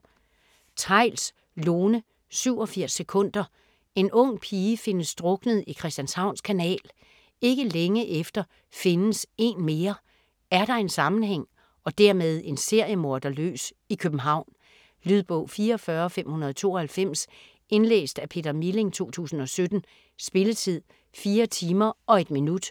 Theils, Lone: 87 sekunder En ung pige findes druknet i Christianshavns Kanal. Ikke længe efter findes en mere. Er der en sammenhæng - og dermed en seriemorder løs i København? Lydbog 44592 Indlæst af Peter Milling, 2017. Spilletid: 4 timer, 1 minut.